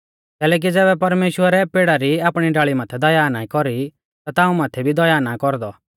कैलैकि ज़ैबै परमेश्‍वरै पेड़ा री आपणी डाल़ी माथै दया ना कौरी ता ताऊं माथै भी दया ना कौरदौ